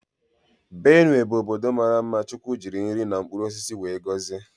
Benue bụ ọbọdọ maara mma chukwu jiri nri na mkpụrụ osisi wee gọzie.